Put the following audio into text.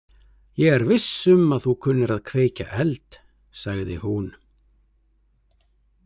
Ég er viss um að þú kunnir að kveikja eld, sagði hún.